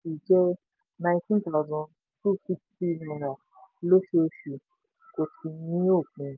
nineteen thousand two sixty lóṣooṣù kò sì ní òpin.